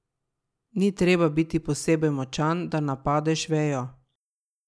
Ni ti treba biti posebej močan, da napadeš vejo.